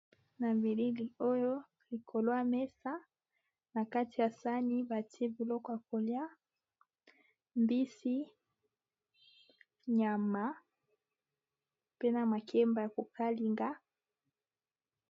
Na bilili oyo likolo ya mesa na kati ya sani batie biloko ya kolia mbisi, nyama, pe na makemba ya ko kalinga.